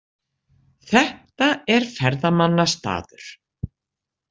Þetta er ferðamannastaður.